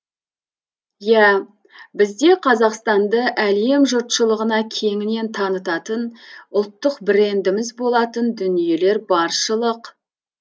иә бізде қазақстанды әлем жұртшылығына кеңінен танытатын ұлттық брендіміз болатын дүниелер баршылық